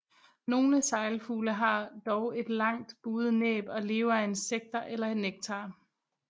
Nogle seglfugle har dog et langt buet næb og lever af insekter eller nektar